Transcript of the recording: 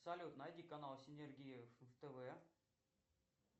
салют найди канал синергия втв